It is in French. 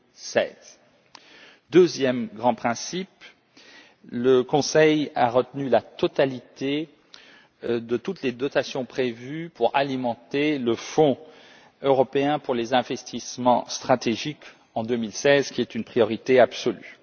2016. Deuxième grand principe le Conseil a retenu la totalité de toutes les dotations prévues pour alimenter le Fonds européen pour les investissements stratégiques en 2016, qui est une priorité absolue.